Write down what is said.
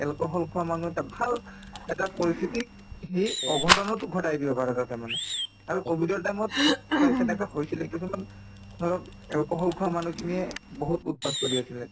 alcohol খোৱা মানুহ এটা ভাল এটা পৰিস্থিতিক সি অঘটনতো ঘটাই দিব পাৰে তাতে মানে আৰু কভিডৰ time ত প্ৰায় তেনেকুৱা হৈছিলে কিছুমান ধৰক alcohol খোৱা মানুহখিনিয়ে বহুত উৎপাত কৰি আছিলে